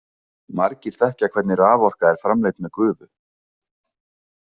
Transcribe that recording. Margir þekkja hvernig raforka er framleidd með gufu.